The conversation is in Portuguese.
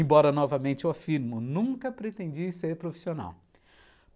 Embora novamente eu afirme, eu nunca pretendi ser profissional.